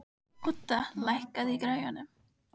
Odda, lækkaðu í græjunum.